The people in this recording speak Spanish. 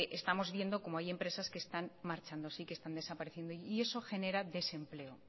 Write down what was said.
estamos viendo cómo hay empresas que están marchándose y que están desapareciendo y eso genera desempleo